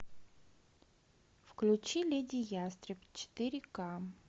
включи леди ястреб четыре ка